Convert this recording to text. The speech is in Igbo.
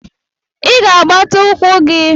Ị ga-agbata ukwu gi